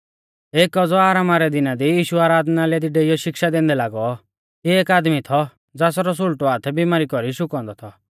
एकी औज़ौ आरामा रै दिना दी यीशु आराधनालय दी डेइयौ शिक्षा दैंदै लागौ तिऐ एक आदमी थौ ज़ासरौ सुल़टौ हाथ बिमारी कौरी शुकौ औन्दौ थौ